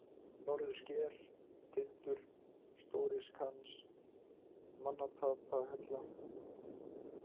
Norðursker, Tindur, Stóriskans, Manntapahella